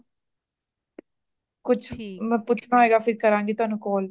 ਕੁਛ ਵੀ ਮੈ ਪੁੱਛਣਾ ਹੋਇਗਾ ਮੈ ਫਿਰ ਕਰਾਂਗੀ ਤੁਹਾਨੂੰ call